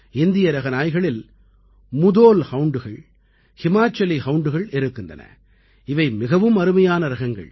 இந்திய ரக நாய்களில் முதோல் Houndகள் ஹிமாச்சலி ஹவுண்டுகள் இருக்கின்றன இவை மிகவும் அருமையான ரகங்கள்